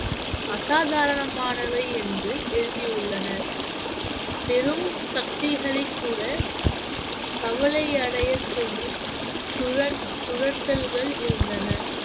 அசாதாரணமானவை என்று எழுதியுள்ளனர் பெரும் சக்திகளைக் கூட கவலை அடையச் செய்யும் சுர~ சுரட்டல்கள் இருந்தன